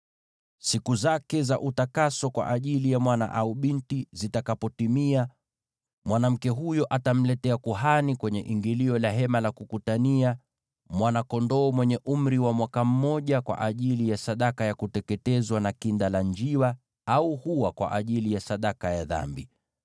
“ ‘Siku zake za utakaso kwa ajili ya mwana au binti zitakapotimia, mwanamke huyo atamletea kuhani kwenye ingilio la Hema la Kukutania mwana-kondoo mwenye umri wa mwaka mmoja kwa ajili ya sadaka ya kuteketezwa, na kinda la njiwa au hua kwa ajili ya sadaka ya dhambi.